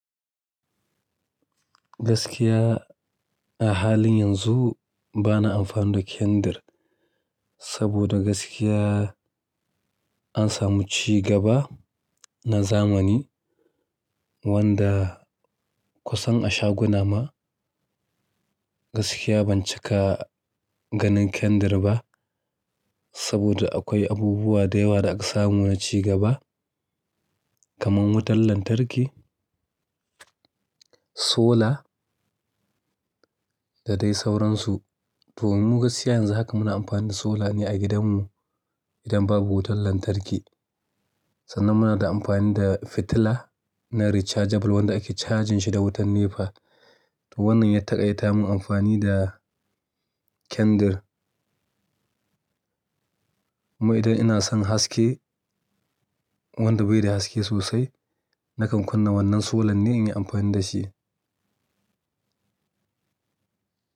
Gaskiya a halin yanzu bana amfani da kandir, saboda gaskiya an samu ci gaba na zamani wanda kusan a shaguna ma gaskiya ban cika ganin kandir ba. Saboda akwai abubuwa da yawa da aka samu na ci gaba kamar wutar lantarki, sola da dai sauransu. To mu gaskiya yanzu haka muna amfani da sola ne a gidanmu idan babu wutar lantarki. Sannan muna da amfani da fitila na rechargeable wanda ake cajin shi da wutar nepa. To wannan ya taƙaita mun amfani da kandir. Kuma idan ina son haske wanda bai da haske sosai nakan kunna wannan sola ne in yi amfani da shi.